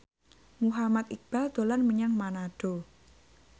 Muhammad Iqbal dolan menyang Manado